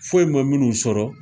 Foyi ma minnu sɔrɔ